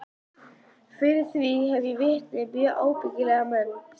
Fyrir því hef ég vitni, mjög ábyggilega menn.